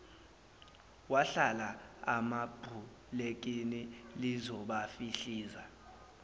wahlala emabhulekini lizobafihliza